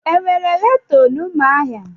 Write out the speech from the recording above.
Enwere ghetọ na Umuahia?